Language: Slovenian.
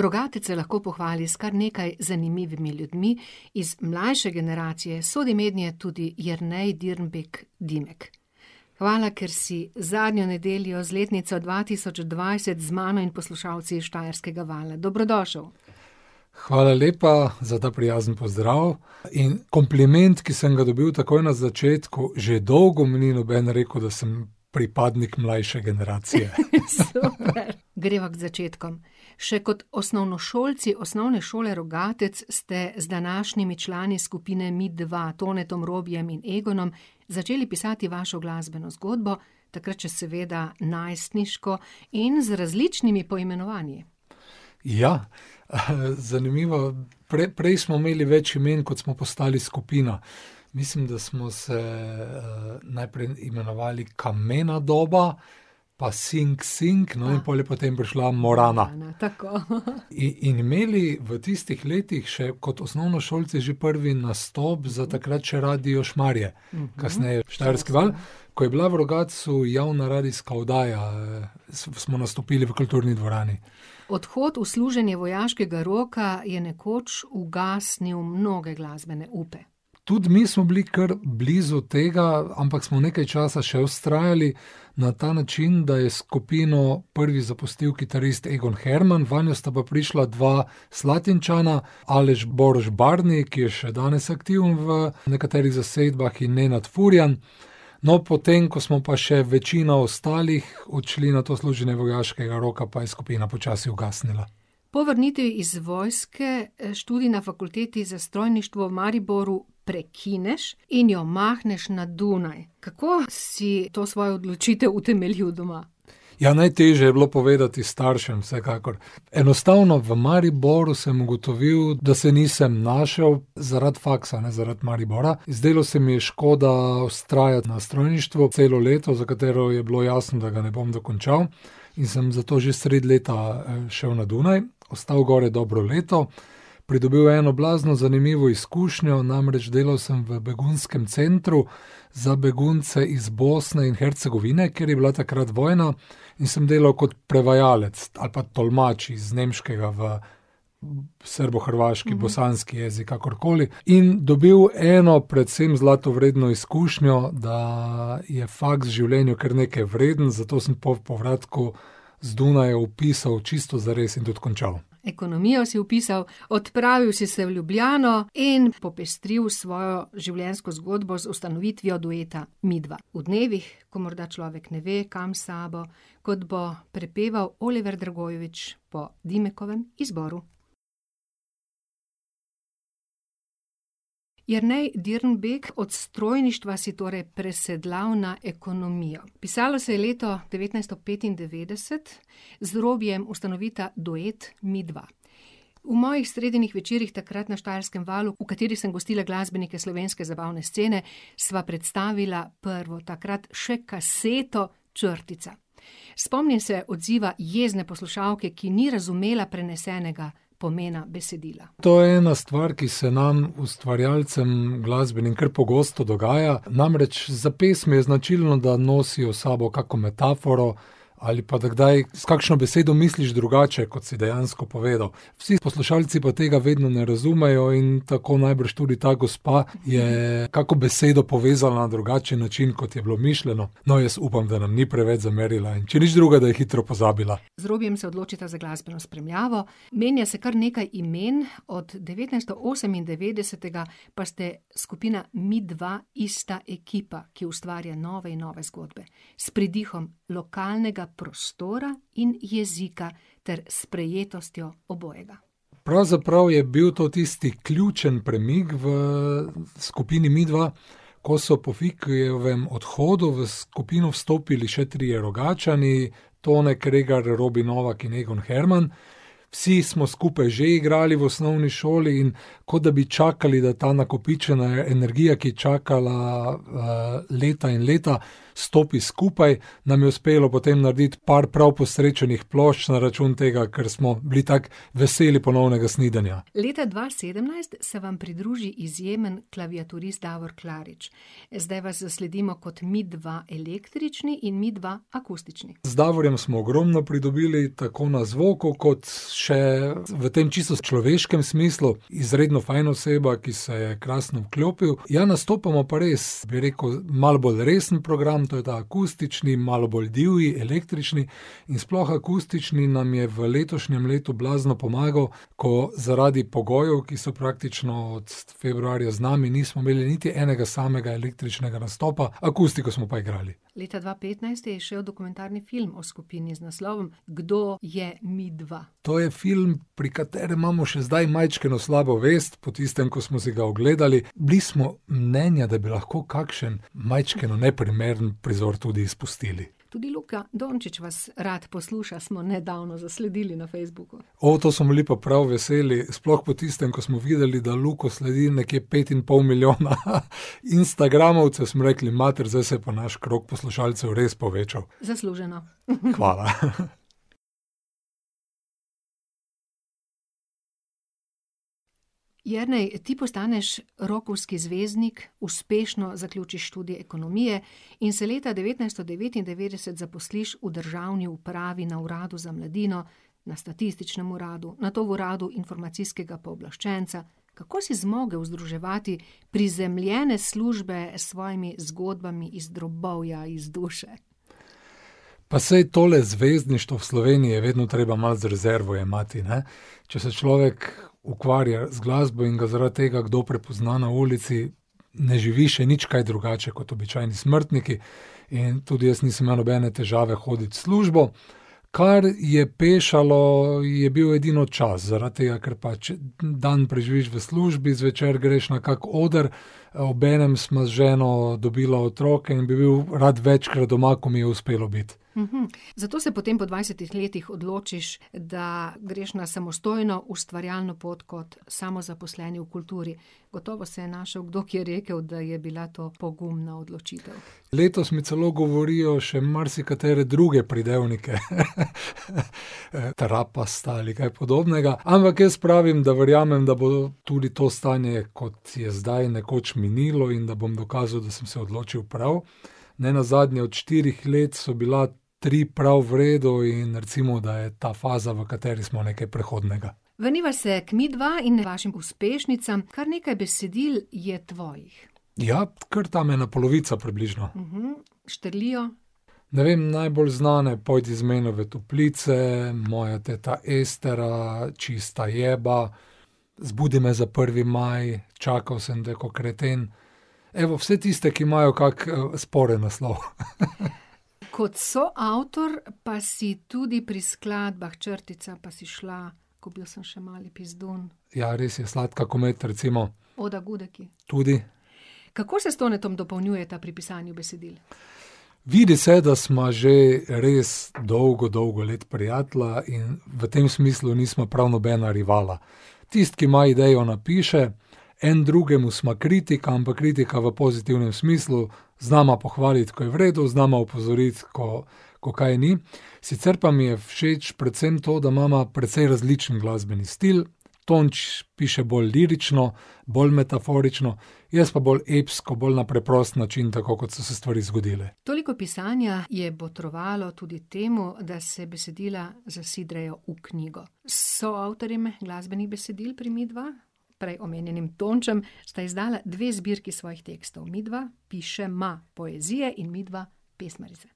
Rogatec se lahko pohvali s kar nekaj zanimivimi ljudmi. Iz mlajše generacije sodi mednje tudi Jernej Dirnbek - Dimek. Hvala, ker si zadnjo nedeljo z letnico dva tisoč dvajset z mano in poslušalci Štajerskega vala. Dobrodošel! Hvala lepa za ta prijazen pozdrav in kompliment, ki sem ga dobil takoj na začetku, že dolgo mi ni noben rekel, da sem pripadnik mlajše generacije. super. Greva k začetkom. Še kot osnovnošolci Osnovne šole Rogatec ste z današnjimi člani skupine Midva, Tonetom, Robijem in Egonom, začeli pisati vašo glasbeno zgodbo, takrat še seveda najstniško in z različnimi poimenovanji. Ja, zanimivo, prej smo imeli več imen, kot smo postali skupina. Mislim, da smo se, najprej imenovali Kamena doba, pa Sing Sing, no, in pol je potem prišla Morana. Tako, . in imeli v tistih letih še kot osnovnošolci že prvi nastop za takrat še Radio Šmarje, kasneje Štajerski val, ko je bila v Rogatcu javna radijska oddaja, smo nastopili v kulturni dvorani. Odhod v služenje vojaškega roka je nekoč ugasnilo mnoge glasbene upe. Tudi mi smo bili kar blizu tega, ampak smo nekaj časa še vztrajali na ta način, da je skupino prvi zapustil kitarist Egon Herman, vanjo sta pa prišla dva Slatinčana, Aleš Boroš - Barni, ki je še danes aktiven v nekaterih zasedbah, in Nenad Furjan. No, potem, ko smo pa še večina ostalih odšli na to služenje vojaškega roka, je pa skupina počasi ugasnila. Po vrnitvi iz vojske, študij na Fakulteti za strojništvo v Mariboru prekineš in jo mahneš na Dunaj. Kako si to svojo odločitev utemeljil doma? Ja, najtežje je bilo povedati staršem, vsekakor. Enostavno v Mariboru sem ugotovil, da se nisem našel, zaradi faksa, ne zaradi Maribora. Zdelo se mi je škoda vztrajati na strojništvu celo leto, za katero je bilo jasno, da ga ne bom dokončal, in sem zato že sredi leta, šel na Dunaj, ostal gori dobro leto, pridobil eno blazno zanimivo izkušnjo, namreč delal sem v begunskem centru za begunce iz Bosne in Hercegovine, ker je bila takrat vojna. In sem delal kot prevajalec ali pa tolmač iz nemškega v srbohrvaški, bosanski jezik, kakorkoli. In dobil eno, predvsem zlata vredno izkušnjo, da je faks v življenju kar nekaj vreden, zato sem po povratku z Dunaja vpisal čisto zares in tudi končalo. Ekonomijo si vpisal, odpravil si se v Ljubljano in popestril svojo življenjsko zgodbo z ustanovitvijo dueta Midva. V dnevih, ko morda človek ne ve, kam s sabo, kot bo prepeval Oliver Dragojevič po Dimekovem izboru. Jernej Dirnbek, od strojništva si torej presedlal na ekonomijo. Pisalo se je leto devetnajststo petindevetdeset, z Robijem ustanovita duet Midva. V mojih sredinih večerih takrat na Štajerskem valu, v katerih sem gostila glasbenike slovenske zabavne scene, sva predstavila prvo, takrat še kaseto Črtica. Spomnim se odziva jezne poslušalke, ki ni razumela prenesenega pomena besedila. To je ena stvar, ki se nam ustvarjalcem glasbenim kar pogosto dogaja, namreč, za pesmi je značilno, da nosijo s sabo kako metaforo ali pa da kdaj s kakšno besedo misliš drugače, kot si dejansko povedal. Vsi poslušalci pa tega vedno ne razumejo in tako najbrž tudi ta gospa je kako besedo povezala na drugačen način, kot je bilo mišljeno. No, jaz upam, da nam ni preveč zamerila, in če nič drugega, da je hitro pozabila. Z Robijem se odločita za glasbeno spremljavo. Menja se kar nekaj imen, od devetnajststo osemindevetdesetega pa ste skupina Midva ista ekipa, ki ustvarja nove in nove zgodbe s pridihom lokalnega prostora in jezika ter sprejetostjo obojega. Pravzaprav je bil to tisti ključni premik v skupini Midva, ko so po Vikijevem odhodu v skupino vstopili še trije Rogatčani, Tone Kregar, Robi Novak in Egon Herman. Vsi smo skupaj že igrali v osnovni šoli in kot da bi čakali, da ta nakopičena energija, ki je čakala, leta in leta, stopi skupaj. Nam je uspelo potem narediti par prav posrečenih plošč na račun tega, ker smo bili tako veseli ponovnega snidenja. Leta dva sedemnajst se vam pridruži izjemen klaviaturist Davor Klarič. Zdaj vas zasledimo kot Midva električni in Midva akustični. Z Davorjem smo ogromno pridobili, tako na zvoku kot še v tem čisto človeškem smislu. Izredno fajn oseba, ki se je krasno vklopil. Ja, nastopamo pa res, bi rekel, malo bolj resen program, to je ta akustični, malo bolj divji, električni, in sploh akustični nam je v letošnjem letu blazno pomagal, ko zaradi pogojev, ki so praktično od februarja z nami, nismo imeli niti enega samega električnega nastopa, akustiko smo pa igrali. Leta dva petnajst je izšel dokumentarni film o skupini z naslovom Kdo je Midva? To je film, pri katerem imamo še zdaj majčkeno slabo vest po tistem, ko smo si ga ogledali. Bili smo mnenja, da bi lahko kakšen majčkeno neprimeren prizor tudi izpustili. Tudi Luka Dončič vas rad posluša, smo nedavno zasledili na Facebooku. to smo bili pa prav veseli, sploh po tistem, ko smo videli, da Luko sledi nekje pet in pol milijona instagramovcev, smo rekli: "Mater, zdaj se je pa naš krog poslušalcev res povečal." Zasluženo. Hvala, Jernej, ti postaneš rockovski zvezdnik. Uspešno zaključiš študij ekonomije in se leta devetnajststo devetindevetdeset zaposliš v državni upravi na Uradu z mladino, na Statističnem uradu, nato Uradu informacijskega pooblaščenca. Kako si zmogel združevati prizemljene službe s svojimi zgodbami iz drobovja, iz duše? Pa saj tole zvezdništvo v Sloveniji je vedno treba malo z rezervo jemati, ne. Če se človek ukvarja z glasbo in ga zaradi tega kdo prepozna na ulici, ne živi še nič kaj drugače kot običajni smrtniki. In tudi jaz nisem imel nobene težave hoditi v službo. Kar je pešalo, je bil edino čas, zaradi tega, ker pač dan preživiš v službi, zvečer greš na kak oder, obenem sva z ženo dobila otroke in bi bil rad večkrat doma, ko mi je uspelo biti. zato se potem po dvajsetih letih odločiš, da greš na samostojno, ustvarjalno pot kot samozaposleni v kulturi. Gotovo se je našel kdo, ki je rekel, da je bila to pogumna odločitev. Letos mi celo govorijo še marsikatere druge pridevnike . trapasta ali kaj podobnega. Ampak jaz pravim, da verjamem, da bo tudi to stanje, kot je zdaj, nekoč minilo in da bom dokazal, da sem se odločil prav. Nenazadnje od štirih let so bila tri prav v redu, in recimo, da je ta faza, v kateri smo, nekaj prehodnega. Vrniva se k Midva in vašim uspešnicam. Kar nekaj besedil je tvojih. Ja, kar tam ena polovica približno. štrlijo? Ne vem, najbolj znana je Pojdi z menoj v toplice, Moja teta Estera, Čista jeba, Zbudi me za prvi maj, Čakal sem te ko kreten. Evo, vse tiste, ki imajo kak, sporen naslov . Kot soavtor pa si tudi pri skladbah Črtica, Pa si šla, Ko bil sem še mali pizdun. Ja, res je, Sladka ko med, recimo. Oda gudeki. Tudi. Kako se s Tonetom dopolnjujeta pri pisanju besedil? Vidi se, da sva že res dolgo, dolgo let prijatelja in v tem smislu nisva prav nobena rivala. Tisti, ki ima idejo, napiše, en drugemu sva kritika, ampak kritika v pozitivnem smislu, znava pohvaliti, ko je v redu, znava opozoriti, ko, ko kaj ni. Sicer pa mi je všeč predvsem to, da imava precej različen glasbeni stil, Tonč piše bolj lirično, bolj metaforično, jaz pa bolj epsko, bolj na preprost način, tako kot so se stvari zgodile. Toliko pisanja je botrovalo tudi temu, da se besedila zasidrajo v knjigo. S soavtorjem glasbenih besedil pri Midva, prej omenjenim Tončem, sta izdala dve zbirki svojih tekstov: Midva pišema poezije in Midva pesmarice.